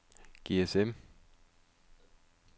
GSM